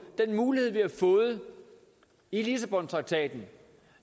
den mulighed vi har fået i lissabontraktaten